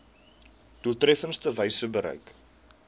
doeltreffendste wyse bereik